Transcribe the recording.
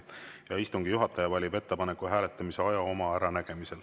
Ja istungi juhataja valib ettepaneku hääletamise aja oma äranägemisel.